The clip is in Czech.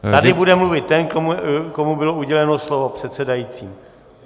Tady bude mluvit ten, komu bylo uděleno slovo předsedajícím.